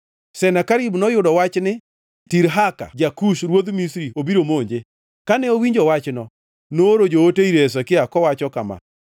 Senakerib noyudo wach ni Tirhaka ja-Kush ruodh Misri obiro monje. Kane owinjo wachno, nooro joote ir Hezekia kowacho kama: